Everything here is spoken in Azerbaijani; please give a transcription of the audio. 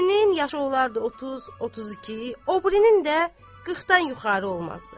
Birinin yaşı olardı 30-32, o birinin də 40-dan yuxarı olmazdı.